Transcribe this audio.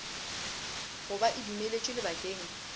go ba e dumeletšwe lebakeng